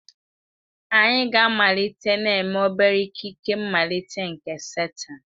Anyị ga-amalite na-eme obere ikike mmalite nke satan.